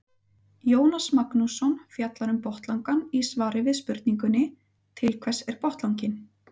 Jónas Magnússon fjallar um botnlangann í svari við spurningunni Til hvers er botnlanginn?